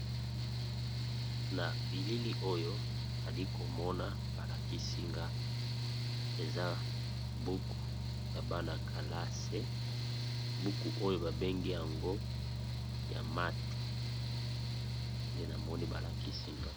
Na bilili oyo nali komona balaki nga eza buku ya bana-kalase, buku oyo babengi yango ya math nde namoni balakisi nga.